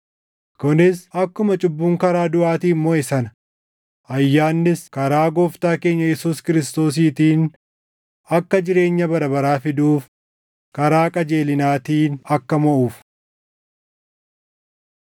kunis akkuma cubbuun karaa duʼaatiin moʼe sana ayyaannis karaa Gooftaa keenya Yesuus Kiristoosiitiin akka jireenya bara baraa fiduuf karaa qajeelinaatiin akka moʼuuf.